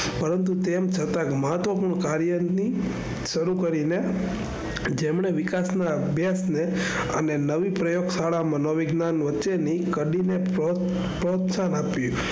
પરંતુ તેમ છતાં મહત્વપૂર્ણ કાર્યની શરુ કરી ને જેમને વિકાસ ના અભ્યાશ ને અને નવી પ્રયોગશાળા માં નવવિજ્ઞાન વચ્ચે ની કાલી ને પ્રોત્સાહન આપ્યું.